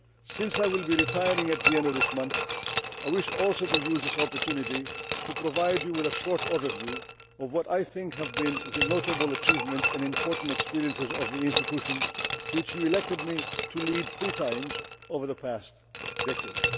Since I will be retiring at the end of this month, I wish also to use this opportunity to provide you with a short overview of what I think have been the notable achievements and important experiences of the institution which you elected me to lead three times over the past decade.